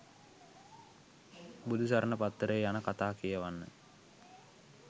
බුදුසරණ පත්තරේ යන කතා කියවන්න